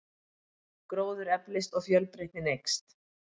Gróður eflist og fjölbreytnin eykst.